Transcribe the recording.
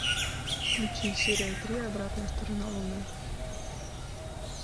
включи серия три обратная сторона луны